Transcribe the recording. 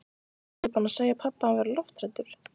Varstu ekki búin að segja pabba að hann væri lofthræddur?